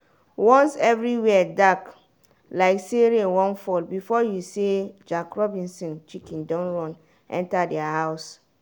once every where dark like say rain wan fall before you say jack robinson chicken don run enter their house.